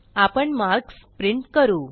आपण marks print करू